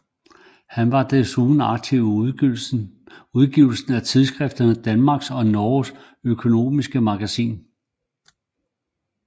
Han var desuden aktiv i udgivelsen af tidsskriftet Danmarks og Norges Oeconomiske Magazin